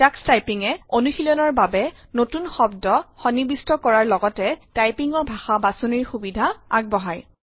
Tux টাইপিঙে অনুশীলনৰ বাবে নতুন শব্দ সন্বিৱিষ্ট কৰাৰ লগতে টাইপিঙৰ ভাষা বাচনিৰ সুবিধা আগবঢ়ায়